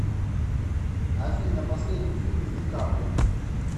афина последний фильм с ди каприо